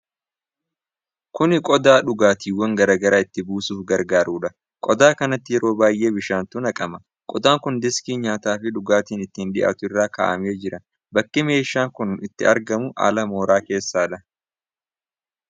Kuni qodaa dhugaatiwwan garaa garaa itti buusuuf gargaarudha. Qodaa kanatti yeroo baay'ee bishaantu naqama. qodaan kun deeskii nyaati fi dhugaatiin itti dhiyaatu irra kaa'amee jira. Bakki meeshaan kun itti argamu ala mooraa keessadha.